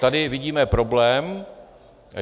Tady vidíme problém.